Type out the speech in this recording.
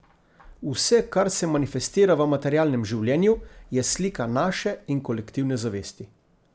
Vse, kar se manifestira v materialnem življenju, je slika naše in kolektivne zavesti.